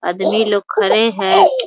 आदमी लोग खड़े हैं ।